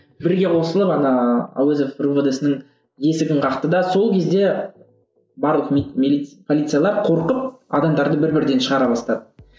бірге қосылып ана әуезов ровд сының есігін қақты да сол кезде барлық полициялар қорқып адамдарды бір бірден шығара бастады